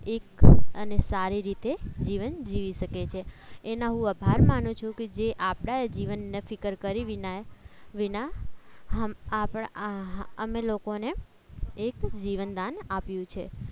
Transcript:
એક અને સારી રીતે જીવન જીવી શકે છે એના હું આભાર માનું છું કે જે આપણા જીવનના ફિકર કરી વિના વિના હમ આપણા આપણે લોકોને એક જીવનદાન આપ્યું છે